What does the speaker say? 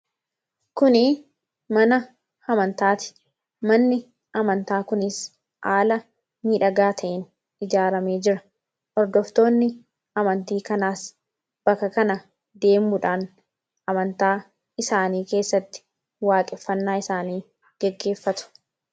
kuni mana Amantaati manni amantaa kunis aala nidhagaa ta'in ijaarame jira ordoftoonni amantii kanaas baka kana deemuudhaan amantaa isaanii keessatti waaqeffannaa isaanii geggeeffatu